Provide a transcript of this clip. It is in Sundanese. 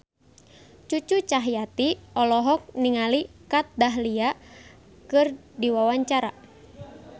Cucu Cahyati olohok ningali Kat Dahlia keur diwawancara